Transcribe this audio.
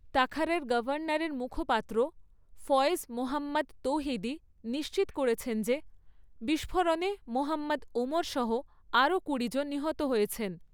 তাখারের গভর্নরের মুখপাত্র ফয়েজ মোহাম্মদ তৌহিদি নিশ্চিত করেছেন যে বিস্ফোরণে মোহাম্মদ ওমর সহ আরো কুড়ি জন নিহত হয়েছেন।